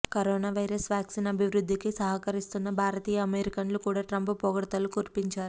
corona virus vaccine అభివృధ్దికి సహకరిస్తున్న భారతీయ అమెరిక్లను కూడా ట్రంప్ పొగడ్తలు కురిపించారు